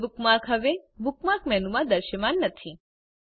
Google bookmark હવે bookmark મેનુમાં દ્રશ્યમાન નથી